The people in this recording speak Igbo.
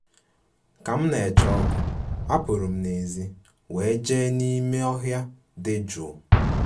Ka m na-eche oku, apụrụ m n'èzí wee jee ije n'ime ọhịa dị jụụ